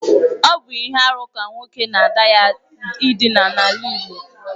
Ọ bụ ihe arụ ka nwoke na ada ya ịdina n’ala Igbo